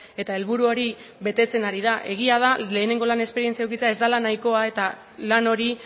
eta helburu hori betetzen ari da egia da lehenengo lan esperientzia edukitzea ez dela nahikoa eta lan hori